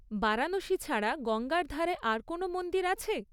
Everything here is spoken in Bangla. বারাণসী ছাড়া গঙ্গার ধারে আর কোনও মন্দির আছে?